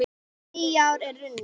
Nýár er runnið!